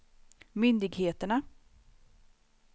myndigheterna